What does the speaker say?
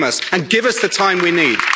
Welcome us and give us the time we need.